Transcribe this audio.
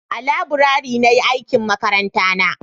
a laburare na yi aikin makaranta na